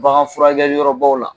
Bagan furakɛli yɔrɔbaw la